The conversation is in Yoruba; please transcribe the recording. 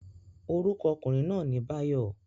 Orúkọ okùnrin náà ni Báyọ̀